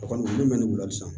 A kɔni bɛ mɛn ni wulali san